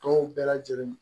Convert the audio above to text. Tɔw bɛɛ lajɛlen